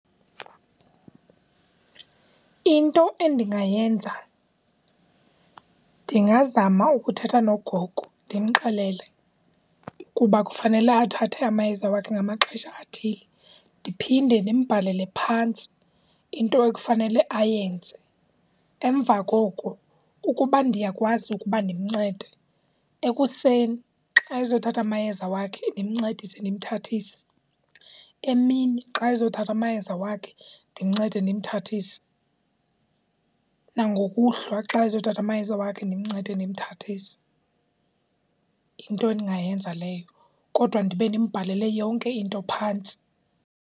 Into endingayenza ndingazama ukuthetha nogogo ndimxelele kuba kufanele athathe amayeza wakhe ngamaxesha athile. Ndiphinde ndimbhalele phantsi into ekufanele ayenze. Emva koku ukuba ndiyakwazi ukuba ndimncede, ekuseni xa ezothatha amayeza wakhe ndimncedise ndimthathise, emini xa ezothatha amayeza wakhe ndimncede ndimthathise, nangokuhlwa xa ezothatha amayeza wakhe ndimncede ndimthathise. Yinto endingayenza leyo kodwa ndibe ndimbhalele yonke into phantsi.